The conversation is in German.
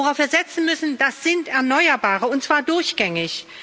Worauf wir setzen müssen, das sind Erneuerbare, und zwar durchgängig.